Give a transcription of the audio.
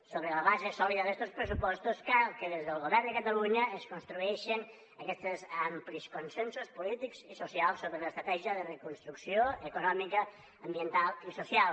sobre la base sòlida d’estos pressupostos cal que des del govern de catalunya es construeixen aquests amplis consensos polítics i socials sobre l’estratègia de reconstrucció econòmica ambiental i social